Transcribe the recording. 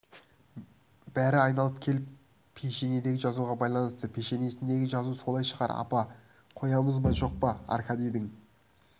бәрі айналып келіп пешенедегі жазуға байланысты пешенесіндегі жазу солай шығар апа қоямыз ба жоқ па аркадийдің